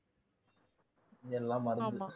எல்லாம் மருந்து